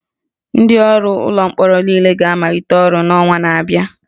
Ndị ọrụ ụlọ mkpọrọ niile ga-amalite ọrụ n'ọnwa na-abịa